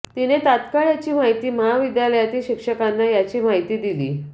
तिने तात्काळ याची माहिती महाविद्यालयातील शिक्षकांना याची माहिती दिली